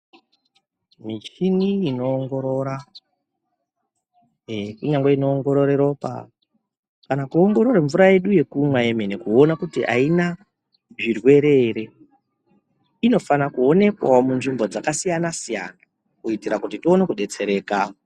Michini inoongorora, kunyangwe inoongorora ropa kana kuongorora mvura yedu yekumwa yemene kuona kuti aina zvirwere ere. Inofanira kuonekwawo munzvimbo dzakasiyana siyana kuitira kuti tione kudetsereka.